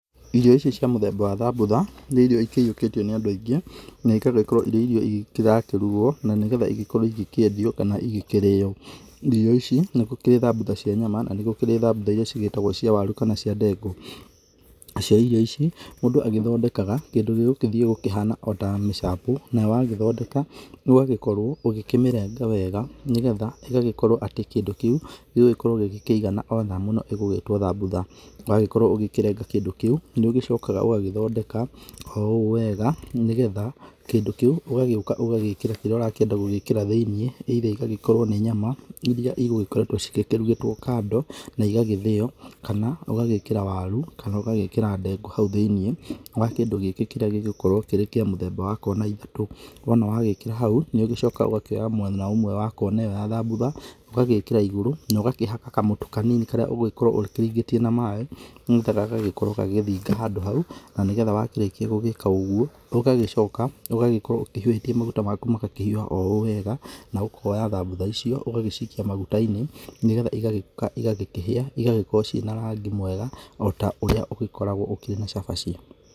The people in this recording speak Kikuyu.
Irio ici cia mũthemba wa thambutha nĩ irio ciiyũkĩtio nĩ andũ aingĩ na ikendwo ikorwo irĩ irio irakĩruguo na nĩgetha ĩgĩkorwo ĩgĩkĩendio na nĩgetha ikĩrĩo, irio ici, nĩgũkĩrĩ thambutha cia nyama na nĩgũkĩri thambutha iria cigĩtagwo cia waru kana cia ndengu na cio irio ici mũndũ agĩthondekaga kĩndũ gĩgũthiĩ kihane ota mĩshapu nayo wakĩmĩthondeka ũgakorwo ũgĩkĩmĩrenga wega nĩgetha ĩgagĩkorwo atĩ kĩndũ kĩu gĩgũgĩkorwo gĩkĩigana ota nyamũ ĩno ĩgũĩgĩtwo thambutha ũgagĩkorwo ũgĩkĩrenga kĩndũ kĩu nĩũgĩcokaga ũgagĩthondeka ooũũ wega nĩgetha kĩndũ kĩu ũgagĩũka ũgagĩkĩra kĩrĩa ũrakĩenda gũgĩkĩra thĩiniĩ either igagĩkorwo nĩ nyama iria cĩgũgĩkoretwo cikĩrugĩtwo kando na igagĩthĩo kana ũgagĩkĩra waru kana ũgagĩkĩra ndengu hau thĩiniĩ wa kĩndũ gĩkĩ kĩrĩa gĩgũgĩkorwo kĩrĩ kĩa mũthemba wa kona ithatũ wona wagĩkĩra hau nĩũgĩcokaga ũkoya mwena ũmwe wa kona ĩyo ya thambutha ũgagĩkĩra igũru nogakĩhaka kamũtu kanini karĩa ũngĩkorwo ũkĩringĩtie na maaĩ nĩgetha gagagĩkorwo gagĩthinga handũ hau na nĩgetha wakĩrĩkia gũgĩka ũguo ũgagĩcoka ũgagĩkorwo ũhiũhĩtie maguta maku makahiũha o ũũ wega na ũkoya thambutha icio ũgagĩcikia maguta-inĩ nĩgetha igakĩhia igagĩkorwo cina na rangi mwega ota ũrĩ ũgĩkoragwo ũkĩrĩ na cabaci.